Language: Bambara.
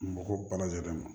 Mɔgɔ ba lajɛlen ma